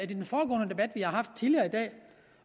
i har haft tidligere i dag